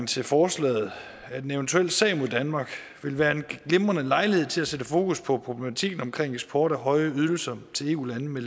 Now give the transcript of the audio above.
til forslaget at en eventuel sag mod danmark vil være en glimrende lejlighed til at sætte fokus på problematikken om eksport af høje ydelser til eu lande med